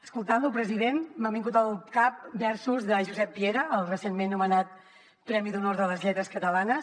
escoltant lo president m’han vingut al cap versos de josep piera el recentment nomenat premi d’honor de les lletres catalanes